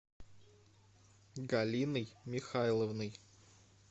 галиной михайловной